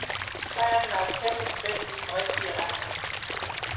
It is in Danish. Sejren var et kæmpe skridt i den rigtige retning.